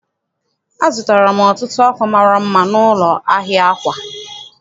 Azụtara m ọtụtụ akwa mara mma n'ụlọ ahịa akwa.